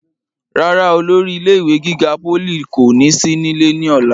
rárá, olórí ilé ìwé gíga pólì kò ní sí nílé ní ọ̀la